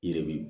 Yiri bi